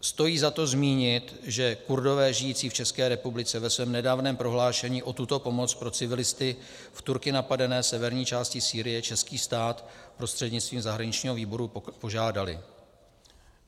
Stojí za to zmínit, že Kurdové žijící v České republice ve svém nedávném prohlášení o tuto pomoc pro civilisty v Turky napadené severní části Sýrie český stát prostřednictvím zahraničního výboru požádali.